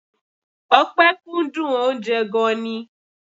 Ọpẹ kúndùn oúnjẹ gan-an ni.